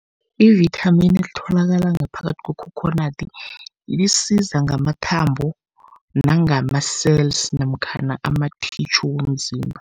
Ivithamini elitholakala ngaphakathi kwekhokhonadi, lisiza ngamathambo nangama-cells namkhana amathitjhu womzimba.